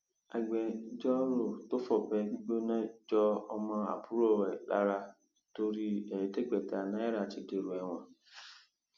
agbẹjọrò tó fọbẹ gbígbóná jọ ọmọ àbúrò ẹ lára torí ẹẹdẹgbẹta náírà ti dèrò ẹwọn